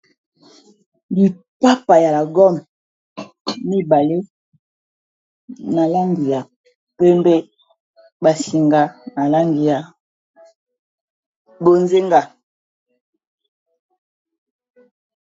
lipapa ya lagone mibale na langi ya pembe basinga na langi ya bozenga